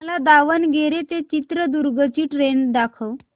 मला दावणगेरे ते चित्रदुर्ग ची ट्रेन दाखव